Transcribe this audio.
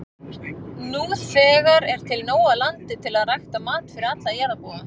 Nú þegar er til nóg af landi til að rækta mat fyrir alla jarðarbúa.